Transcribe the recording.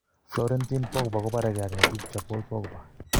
Florentin Pogba kobaree ak netupcho Paul Pogba.